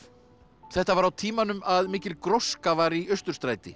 þetta var á tímanum að mikil gróska var í Austurstræti